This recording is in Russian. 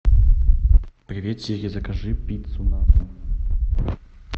привет сири закажи пиццу на дом